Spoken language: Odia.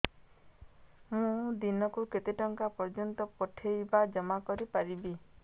ମୁ ଦିନକୁ କେତେ ଟଙ୍କା ପର୍ଯ୍ୟନ୍ତ ପଠେଇ ବା ଜମା କରି ପାରିବି